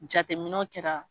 Jateminɛ kɛra.